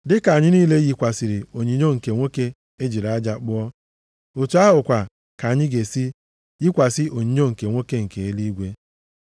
Dịka anyị niile yikwasịrị onyinyo nke nwoke e jiri aja kpụọ, otu ahụkwa ka anyị ga-esi yikwasị onyinyo nke nwoke nke eluigwe.